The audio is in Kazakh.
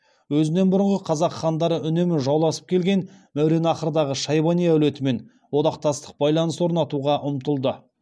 өзінен бұрынғы қазақ хандары үнемі жауласып келген мауераннахрдағы шайбани әулетімен одақтастық байланыс орнатуға ұмтылды